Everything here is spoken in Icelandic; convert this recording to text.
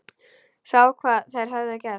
Sá hvað þær höfðu gert.